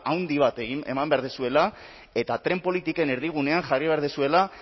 handi bat eman behar duzuela eta tren politiken erdigunean jarri behar duzuela